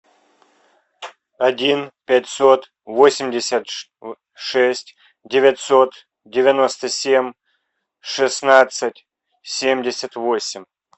один пятьсот восемьдесят шесть девятьсот девяносто семь шестнадцать семьдесят восемь